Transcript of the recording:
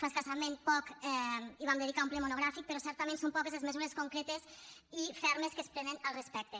fa escassament poc hi vam dedicar un ple monogràfic però certament són poques les mesures concretes i fermes que es prenen al respecte